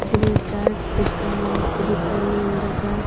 गृह चार्ट चिपका हुआ है श्री करनेन्दद्र का।